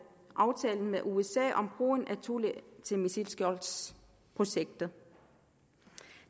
aftalen med usa om brugen af thule til missilskjoldsprojektet